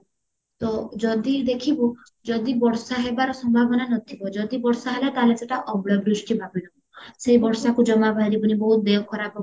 ତ ଯଦି ଦେଖିବୁ ଯଦି ବର୍ଷା ହେବାର ସମ୍ଭାବନା ନଥିବା ଯଦି ବର୍ଷ ହେଲା ତାହେଲେ ସେଟା ଅମ୍ଳ ବୃଷ୍ଟି ଭାବିନବୁ ସେଇ ବର୍ଷାକୁ ଜମା ବାହାରିବୁନି ବହୁତ ଦେହ ଖରାପ ହବ